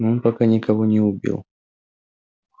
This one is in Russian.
но он пока никого не убил